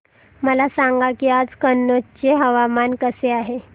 मला सांगा की आज कनौज चे हवामान कसे आहे